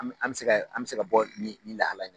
An bɛ an bɛ se ka an bɛ se ka bɔ ni lahala in na.